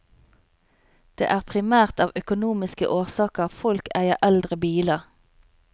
Det er primært av økonomiske årsaker folk eier eldre biler.